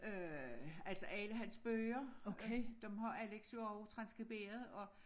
Øh altså alle hans bøger dem har Alex jo også transskriberet og